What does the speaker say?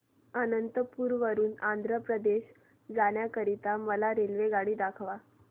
अनंतपुर वरून आंध्र प्रदेश जाण्या करीता मला रेल्वेगाडी दाखवा